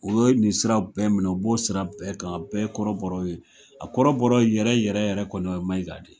O ye nin sira bɛɛ minɛ u b'o sira bɛɛ kan bɛɛ kɔrɔbɔrɔ ye. A kɔrɔbɔrɔ yɛrɛ yɛrɛ yɛrɛ kɔni o ye Maiga de.